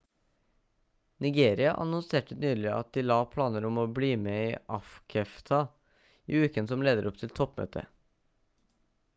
nigeria annonserte nylig at de la planer om å bli med i afcfta i uken som leder opp til toppmøtet